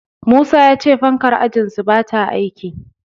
Musa ya ce fankar ajinsu bata aiki.